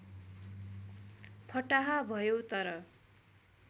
फटाहा भयौ तर